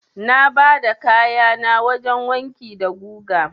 Na bada kayana wajen wanki da guga.